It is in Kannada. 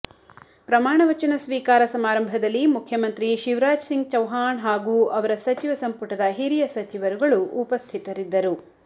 ಪ್ರಮಾಣ ವಚನ ಸ್ವೀಕಾರ ಸಮಾರಂಭದಲ್ಲಿ ಮುಖ್ಯಮಂತ್ರಿ ಶಿವರಾಜ್ ಸಿಂಗ್ ಚೌವ್ಹಾಣ್ ಹಾಗೂ ಅವರ ಸಚಿವ ಸಂಪುಟದ ಹಿರಿಯ ಸಚಿವರುಗಳು ಉಪಸ್ಥಿತರಿದ್ದರು